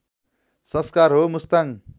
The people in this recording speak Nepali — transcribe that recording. संस्कार हो मुस्ताङ